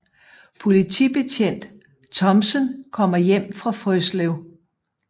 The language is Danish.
Politibetjent Thomsen kommer hjem fra Frøslev